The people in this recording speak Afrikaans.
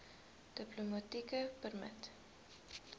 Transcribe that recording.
diplomatieke permit